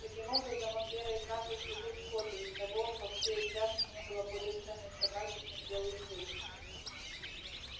таким образом он верой и правдой служил скотту и у того во всей упряжке не было более ценной собаки чем белый клык